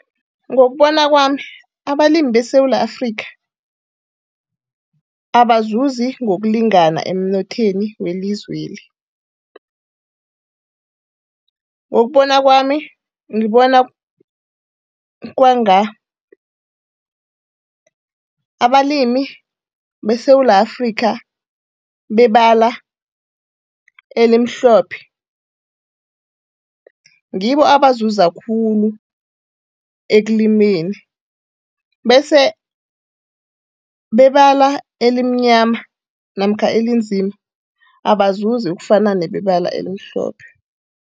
Ngokubona kwami, abalimi beSewula Afrika abazuzi ngokulingana emnothweni welizweli. Ngokubona kwami, ngibona kwanga abalimi beSewula Afrika bebala elimhlophe ngibo abazuza khulu ekulimeni, bese bebala elimnyama namkha elinzima abazuzi ukufana nebebala elimhlophe.